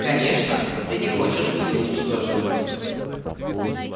конечно ты не хочешь быть уничтоженным